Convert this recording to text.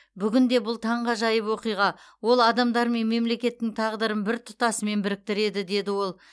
бүгінде бұл таңғажайып оқиға ол адамдар мен мемлекеттің тағдырын бір тұтасымен біріктіреді деді ол